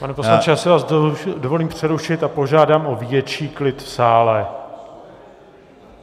Pane poslanče, já si vás dovolím přerušit a požádám o větší klid v sále.